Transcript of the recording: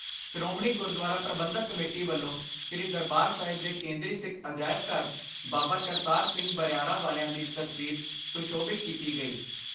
Shiromani Gurdwara Parbandhak committee ਵੱਲੋਂ ਸ੍ਰੀ ਦਰਬਾਰ ਸਾਹਿਬ ਦੇ ਕੇਂਦਰੀ ਸਿੱਖ ਅਜਾਇਬ ਘਰ 'ਚ ਬਾਬਾ ਕਰਤਾਰ ਸਿੰਘ ਬਰਿਆਰਾ ਵਾਲਿਆਂ ਦੀ ਤਸਵੀਰ ਸੁਸ਼ੋਭਿਤ ਕੀਤੀ ਗਈ।